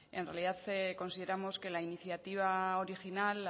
en realidad consideramos que la iniciativa original la